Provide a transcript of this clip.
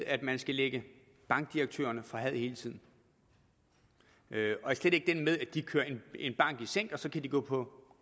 at man skal lægge bankdirektørerne for had hele tiden og slet ikke den med at de kører en bank i sænk og så kan de gå på